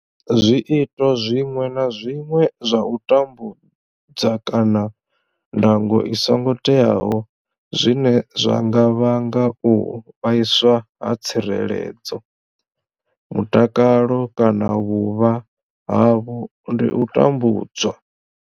Zwiito zwiṅwe na zwiṅwe zwa u tambudza kana ndango i songo teaho zwine zwa nga vhanga u vhaiswa ha tsireledzo, mutakalo kana vhuvha havho ndi u tambudzwa.